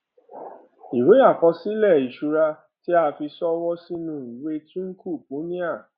ìwé àkọsílè ìṣura tí a fi ṣọwó sínú ìwé twinkle punia